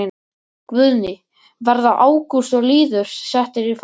Guðný: Verða Ágúst og Lýður settir í farbann?